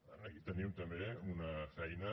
aquí tenim també una feina